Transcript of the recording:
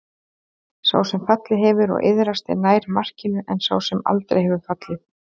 Sá sem fallið hefur og iðrast er nær markinu en sá sem aldrei hefur fallið.